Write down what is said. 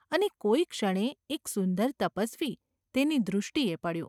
અને કોઈક ક્ષણે એક સુંદર તપસ્વી તેની દૃષ્ટિએ પડ્યો.